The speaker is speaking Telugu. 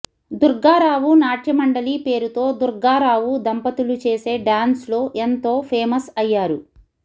దుర్గారావు నాట్యమండలి పేరుతో దుర్గా రావు దంపతులు చేసే డాన్స్ లో ఎంతో ఫేమస్ అయ్యారు